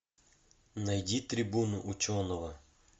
найди трибуну ученого